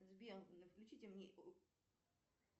сбер включите мне